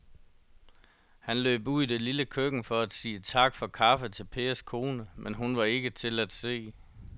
Han løb ud i det lille køkken for at sige tak for kaffe til Pers kone, men hun var ikke til at se.